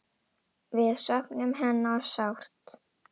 Við söknum hennar sárt.